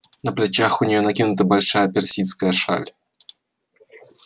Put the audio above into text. на плечах у нее накинута большая персидская шаль